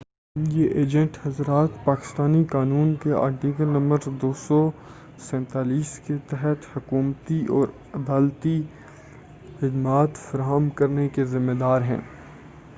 یہ ایجنٹ حضرات پاکستانی قانون کے آرٹیکل نمبر 247 کے تحت حکومتی اور عدالتی خدمات فراہم کرنے کے ذمّے دار ہیں